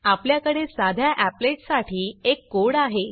आपल्याकडे साध्या applet applet साठी एक कोड आहे